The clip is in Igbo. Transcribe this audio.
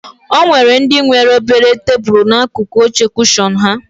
O nwere ndị nwere obere tebulu n'akụkụ oche kushọn ha